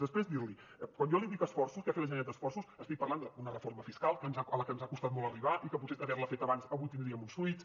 després dir li quan jo li dic esforços què ha fet la generalitat d’esforços estic parlant d’una reforma fiscal a la que ens ha costat molt arribar i que potser havent la fet abans avui tindríem uns fruits